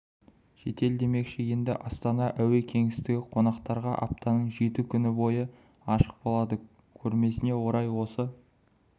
шетел демекші енді астана әуе кеңістігі қонақтарға аптаның жеті күні бойы ашық болады көрмесіне орай осы